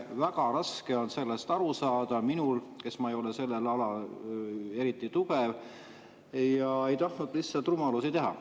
Väga raske on sellest aru saada minul, kes ma ei ole sellel alal eriti tugev, ja ei tahtnud lihtsalt rumalusi teha.